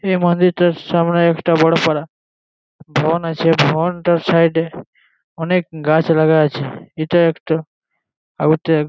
এই মন্দিরটার সামনে বড় পারা বন আছে। বনটার সাইড -এ অনেক গাছ লাগা আছে। এটা একটা--